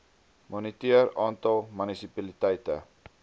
moniteer aantal munisipaliteite